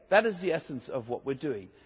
That is the essence of what we are doing.